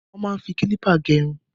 Wọ́n máa ń fi kílípà gẹ irun.